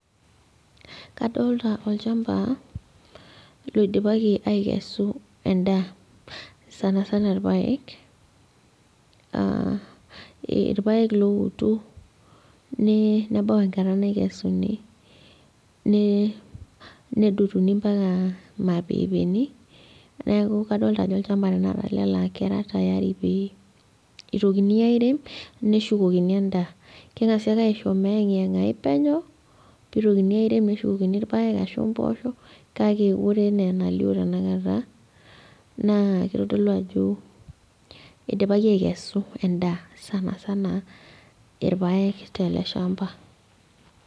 Kadolta olchamba loidipaki aikesu endaa sanasana irpayek uh irpayek lowoto ne nebau enkata naikesuni ne nedotuni mpaka mapepeni neeku kadolita ajo olchamba tenakata ele laa kadolita ajo kera tayari pee itokini airem neshukokini endaa keng'asi ake aisho meyeng'iyeng'ai penyo pitokini airem neshukokin irpayek ashu imposho kake ore enaa enalio tenakata naa kitodolu ajo idipaki aikesu endaa sanasana irpayek tele shamba.